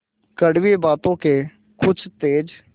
कड़वी बातों के कुछ तेज